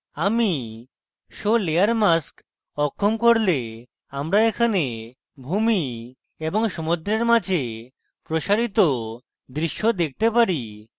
আমি show layer mask অক্ষম করলে আমরা এখানে ভূমি এবং সমদ্রের মাঝে প্রসারিত দৃশ্য দেখতে পারি